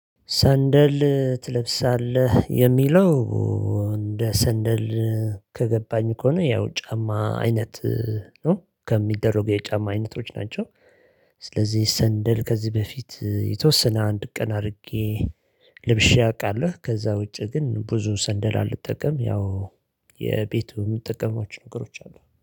ሰንደል ትለብሳለህ የሚለው እንደ ሰንደል ከገባኝ ከሆነ ያው ጫማ አይነት ነው ከሚደረጉ የጫማ አይነቶች ናቸው። ስለዚህ ሰንደል ከዚህ በፊት የተወሰነ አንድ ቀን አድርጌ ልብሼ አውቃለሁ። ከዛ ውጪ ግን ብዙ ሰንደል አልጠቀምም ያው የቤቱ የምትጠቀማቸው ነገሮች አሉ